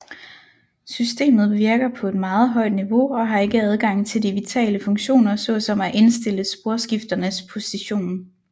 Systemet virker på et meget højt niveau og har ikke adgang til de vitale funktioner såsom at indstille sporskifternes position